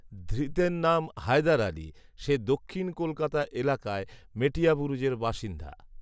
ধৃতের নাম হায়দার আলি৷ সে দক্ষিন কলকাতা এলাকার মেটিয়াবুরুজের বাসিন্দা৷